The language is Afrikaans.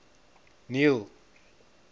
neil